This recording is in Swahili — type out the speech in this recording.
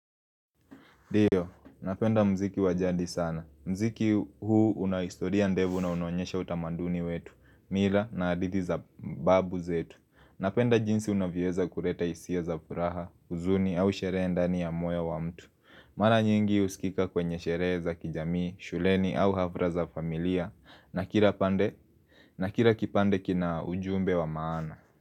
Ndio, napenda muziki wa jadi sana. Muziki huu una historia ndefu na unaonyesha utamanduni wetu, mila na hadithi za babu zetu. Napenda jinsi unavyoeza kuleta hisia za furaha, huzuni au sherehe ndani ya moyo wa mtu Mara nyingi husikika kwenye sherehe za kijamii, shuleni au hafra za familia. Na kila kipande kina ujumbe wa maana.